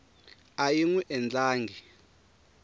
a yi n wi endlangi